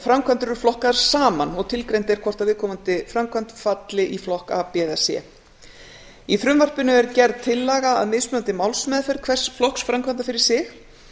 framkvæmdir eru flokkaðar saman og tilgreint er hvort viðkomandi framkvæmd falli í flokk a b eða c í frumvarpinu er gerð tillaga að mismunandi málsmeðferð hvers flokks framkvæmda fyrir sig